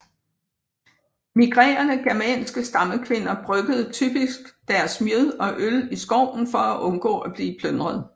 Migrerende germanske stammekvinder bryggede typisk deres mjød og øl i skoven for at undgå at blive plyndret